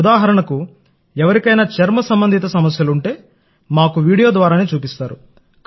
ఉదాహరణకు ఎవరికైనా చర్మ సంబంధిత సమస్యలు ఉంటే మాకు వీడియో ద్వారానే చూపిస్తారు